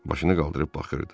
Başını qaldırıb baxırdı.